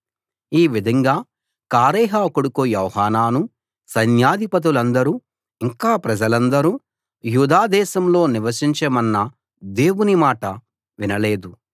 ఈ విధంగా కారేహ కొడుకు యోహానానూ సైన్యాధిపతులందరూ ఇంకా ప్రజలందరూ యూదా దేశంలో నివసించమన్న దేవుని మాట వినలేదు